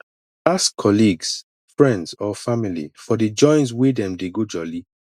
ask colleague friends or family for di joints wey dem dey go jolli